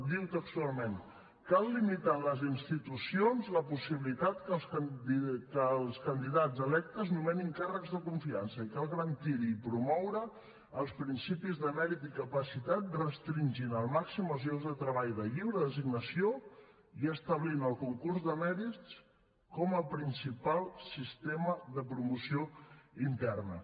diu textualment cal limitar en les institucions la possibilitat que els candidats electes nomenin càrrecs de confiança i cal garantir hi i promoure els principis de mèrit i capacitat restringint al màxim els llocs de treball de lliure designació i establint el concurs de mèrits com a principal sistema de promoció interna